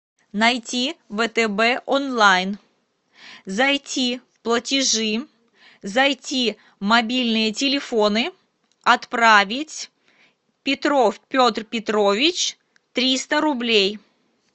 найти втб онлайн зайти в платежи зайти мобильные телефоны отправить петров петр петрович триста рублей